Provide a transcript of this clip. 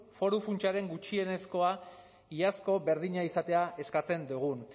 foru funtsaren gutxienezkoa iazko berdina izatea eskatzen dugun